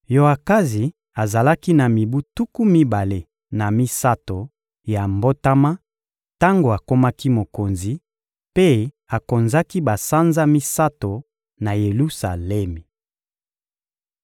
Yoakazi azalaki na mibu tuku mibale na misato ya mbotama tango akomaki mokonzi, mpe akonzaki basanza misato na Yelusalemi.